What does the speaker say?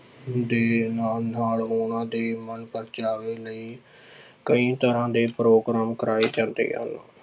ਦੇ ਨਾਲ ਨਾਲ ਉਹਨਾਂ ਦੇ ਮਨਪ੍ਰਚਾਵੇ ਲਈ ਕਈ ਤਰ੍ਹਾਂ ਦੇ ਪ੍ਰੋਗਰਾਮ ਕਰਵਾਏ ਜਾਂਦੇ ਹਨ।